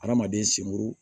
Adamaden sen buru